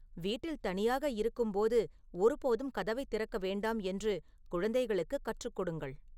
வீட்டில் தனியாக இருக்கும்போது ஒருபோதும் கதவைத் திறக்க வேண்டாம் என்று குழந்தைகளுக்குக் கற்றுக்கொடுங்கள்